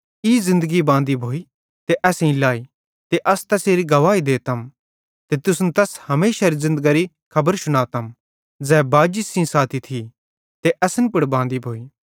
ई ज़िन्दगी बांदी भोइ ते असेईं लाई ते अस तैसेरी गवाही देतम ते तुसन तैस हमेशारी ज़िन्दगरी खबर शुनातम ज़ै बाजी सेइं साथी थी ते असन पुड़ बांदी भोइ